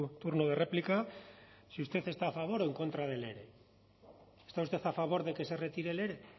turno de réplica si usted está a favor o en contra del ere está usted a favor de que se retire el ere